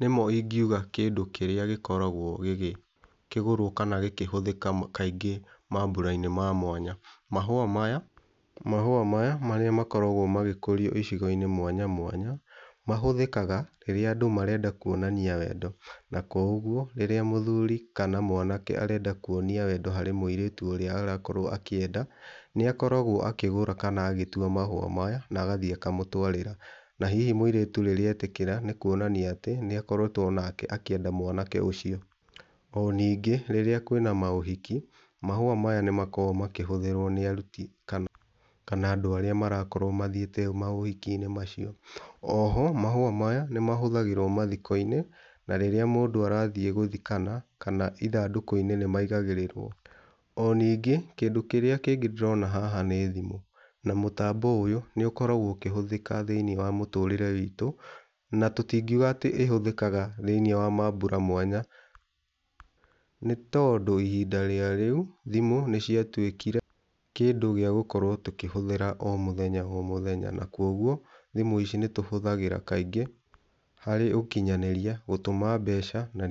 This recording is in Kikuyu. nĩmo ingiuga kĩndũ kĩrĩa gĩkoragwo gĩgĩkĩgũrwo kana gĩkĩhũthika kaingĩ mambura-inĩ ma mwanya. Mahũa maya mahũa maya marĩa makoragwo magĩkoriũ icigo-inĩ mwanya mwanya mahũthĩkaga rĩrĩa andũ marenda kuonania wendo, na kwa ũguo rĩrĩa mũthuri kana mwanake arenda kũonia wendo harĩ mũirĩtu ũrĩa arakorwo akĩenda nĩakoragwo akĩgũra kana agĩtwa mahũa maya na agathĩe akamũtwarĩra na hihi mũirĩtu rĩrĩa etĩkĩra nĩ kũonania atĩ nĩakoretwo onake akĩenda mwanake ũcio. Ona ningĩ rĩrĩa kwĩna maũhiki mahũa maya nĩmakoragwo makĩhũthĩrwo kana andũ arĩa marakorwo makĩthiĩte maũhiki-inĩ macio . Oho mahũa maya nĩmahũthagĩrwo mathiko-inĩ, na rĩrĩa mũndũ arathĩe gũthikana kana ithandũku-inĩ nĩmaigagĩrĩrwo. O ningĩ kĩndũ kĩrĩa kĩngĩ ndĩrona haha nĩ thimũ, na mũtambo ũyũ nĩũkoragwo ũkĩhũthĩka thĩiniĩ wa mũtũrĩre witu, na tũtingiuga atĩ ĩhũthĩkaga thĩiniĩ wa mambura mwanya, nĩ tondũ ihinda ríĩ rĩu thimũ nĩciatũĩkire kĩndũ gĩa gũkorwo tũkĩhũthĩra o mũthenya o mũthenya, na kwa ũguo thimũ ici nĩtũhũthagĩra kaingĩ harĩ ũkinyanĩria gũtũma mbeca na ni...